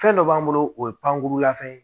Fɛn dɔ b'an bolo o ye pankurulafɛn ye